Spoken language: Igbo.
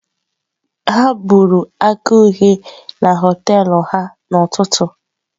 Ha buru akara uhie na họtel ha n'ụtụtụ.